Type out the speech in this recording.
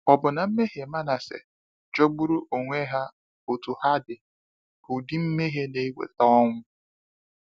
Ọ̀ bụ na mmehie Manase, jọgburu onwe ha otú ha dị, bụ ụdị mmehie na eweta ọnwụ?